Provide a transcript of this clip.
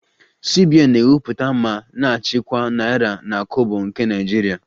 CBN na-ewepụta ma na-achịkwa naira na kobo nke Naijiria